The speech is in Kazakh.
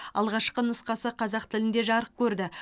алғашқы нұсқасы қазақ тілінде жарық көрді